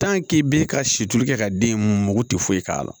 i b'i ka situlu kɛ ka den in mako tɛ foyi k'a la